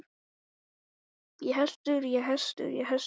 Móðir mín fæddist í Veghúsum og ólst þar upp.